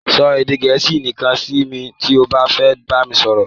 Sọ edè Gẹ̀ẹ́sì nìkan si mi ti o ba fe bami soro